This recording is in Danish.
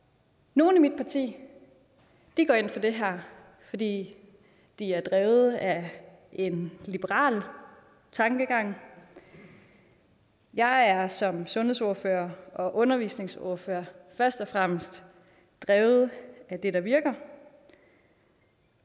nogle i mit parti går ind for det her fordi de er drevet af en liberal tankegang jeg er som sundhedsordfører og undervisningsordfører først og fremmest drevet af det der virker